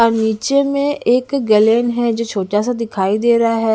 और नीचे में एक गैलन है जो छोटा सा दिखाई दे रहा है।